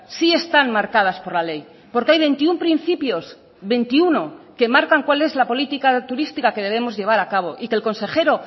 sí están marcadas por la ley porque hay veintiuno principios veintiuno que marcan cuál es la política turística que debemos llevar a cabo y que el consejero